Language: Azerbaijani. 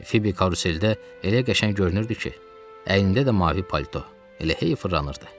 Fibi karuseldə elə qəşəng görünürdü ki, əynində də mavi palto elə hey fırlanırdı.